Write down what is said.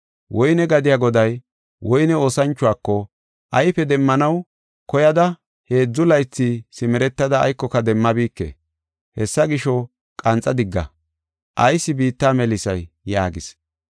Woyne gadiya goday woyne oosanchuwako, ‘Ayfe demmanaw koyada heedzu laythi simeretada aykoka demmabike. Hessa gisho, qanxa digga; ayis biitta melisay?’ yaagis.